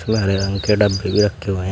हरे रंग के डब्बे भी रखे हुए हैं।